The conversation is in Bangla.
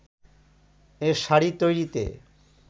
এ শাড়ি তৈরিতে